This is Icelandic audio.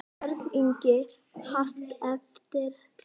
Björn Ingi: Haft eftir þér?